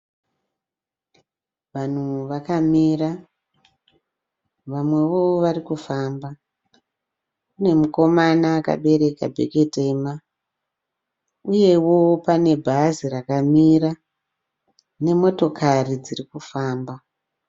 Vanhu vakamira vamwewo varikufamba. Kune mukomana akabereka bhegi tema, uyewo pane bhazi rakamira nemotokari dzirikufamba.